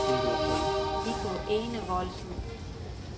Viggo Enevoldsen